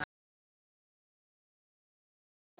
Það var best að drífa sig með hann.